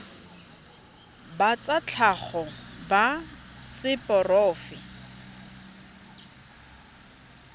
ba tsa tlhago ba seporofe